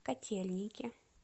котельники